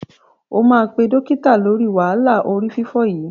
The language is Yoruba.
O máa pé dọ́kítà lóri wàhálà orí fífọ́ yìí.